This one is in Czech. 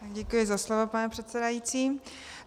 Děkuji za slovo, pane předsedající.